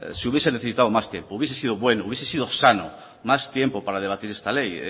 se hubiese necesitado más tiempo hubiese sido bueno hubiese sido sano más tiempo para debatir esta ley